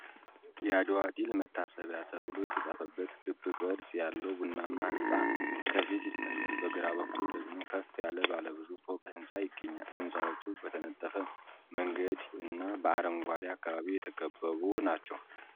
“የአድዋ ድል መታሰቢያ” ተብሎ የተጻፈበት ክብ ቅርጽ ያለው ቡናማ ሕንፃ ከፊት ይታያል፤ በግራ በኩል ደግሞ ከፍ ያለ ባለብዙ ፎቅ ሕንፃ ይገኛል። ሕንፃዎቹ በተነጠፈ መንገድ እና በአረንጓዴ አካባቢ የተከበቡ ናቸው።